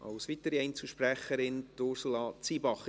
Als weitere Einzelsprecherin, Ursula Zybach.